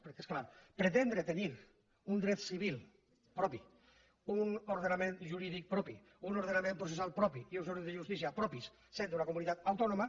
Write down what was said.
perquè és clar pretendre tenir un dret civil propi un ordenament jurídic propi un ordenament processal propi i uns òrgans de justícia propis sent d’una comunitat autònoma